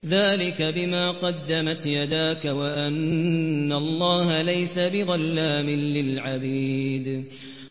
ذَٰلِكَ بِمَا قَدَّمَتْ يَدَاكَ وَأَنَّ اللَّهَ لَيْسَ بِظَلَّامٍ لِّلْعَبِيدِ